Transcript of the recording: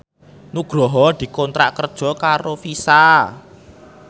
Nugroho dikontrak kerja karo Visa